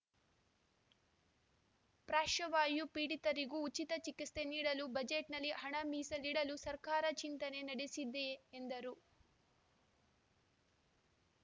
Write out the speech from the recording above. ಪಾಶ್ರ್ವವಾಯು ಪೀಡಿತರಿಗೂ ಉಚಿತ ಚಿಕಿತ್ಸೆ ನೀಡಲು ಬಜೆಟ್‌ನಲ್ಲಿ ಹಣ ಮೀಸಲಿಡಲು ಸರ್ಕಾರ ಚಿಂತನೆ ನಡೆಸಿದೆ ಎಂದರು